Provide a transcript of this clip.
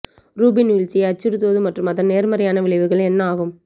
Rubin வீழ்ச்சியை அச்சுறுத்துவது மற்றும் அதன் நேர்மறையான விளைவுகள் என்ன ஆகும்